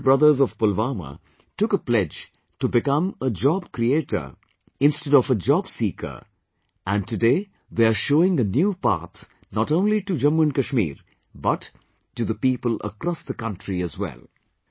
The Sheikh brothers of Pulwama took a pledge to become a job creator instead of a job seeker and today they are showing a new path not only to Jammu and Kashmir, but to the people across the country as well